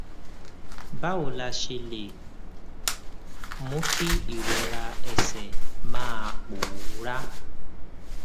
báwo la ṣe lè mú kí ìrora ẹsè máa pòórá